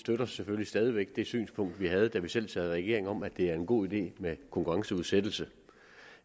støtter selvfølgelig stadig væk det synspunkt vi havde da vi selv sad i regering om at det er en god idé med konkurrenceudsættelse